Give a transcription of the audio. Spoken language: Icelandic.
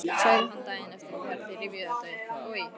sagði hann daginn eftir þegar þeir rifjuðu þetta upp: Oj!